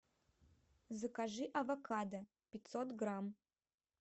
закажи авокадо пятьсот грамм